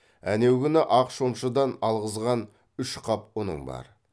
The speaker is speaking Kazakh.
әнеу күні ақ шомшыдан алғызған үш қап ұның бар